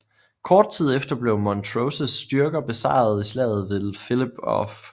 Kort tid efter blev Montroses styrke besejret i slaget ved Philiphaugh